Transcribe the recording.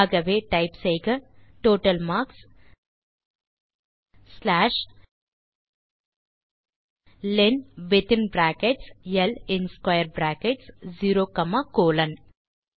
ஆகவே டைப் செய்க total marks slash len within brackets ல் in square brackets 0 comma colon